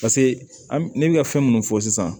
Paseke an m ne bɛ ka fɛn minnu fɔ sisan